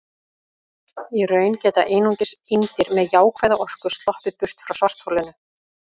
Í raun geta einungis eindir með jákvæða orku sloppið burt frá svartholinu.